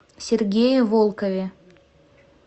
сергее волкове